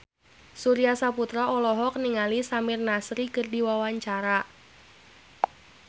Surya Saputra olohok ningali Samir Nasri keur diwawancara